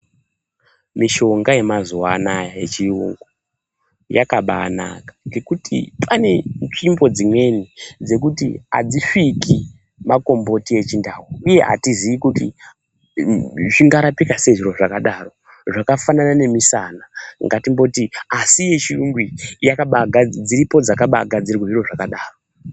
Mishonga yemazuwa anaya yechiyungu yakabanaka ngekuti pane nzvimbo dzimweni dzekuti adzisviki makomboti echindau uye atizii kuti zvingarapika sei zviro zvakadaro zvakafanana nemisana asi ngatimboti asi yechiyungu iyi dziripo dzakagadzirirwa zviro zvakadaro.